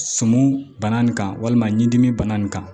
Suman bana nin kan walima ɲinɛni bana nin kan